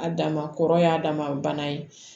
A dama kɔrɔ y'a dama bana ye